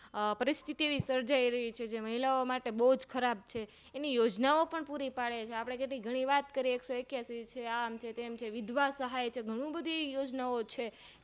પરિસ્તી એવી સર્જાય રહી છે જેમાં મહિલાઓમાટે બવ ખરાબ છે એની યોજના ઓં પણ પૂરી પાડેછે અને ગનીવાત કરીએ એકસોએકીયાશી આમ છે તેમ છે વિધવા સહાય છે ઘણું બધું એ યોજના ઓં છે